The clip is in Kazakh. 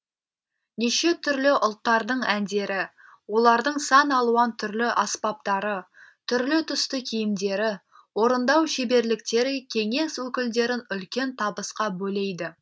неше түрлі ұлттардың әндері олардың сан алуан түрлі аспаптары түрлі түсті киімдері орындау шеберліктері кеңес өкілдерін үлкен табысқа бөлейді